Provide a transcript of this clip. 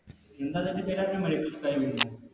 എന്തതിൻറെ പേരറിഞ്ഞേ Medical scribing ഓ